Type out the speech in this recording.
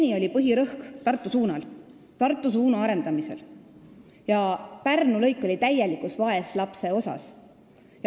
Seni oli põhirõhk Tartu suuna arendamisel ja Pärnu lõik oli täielikult vaeslapse osas.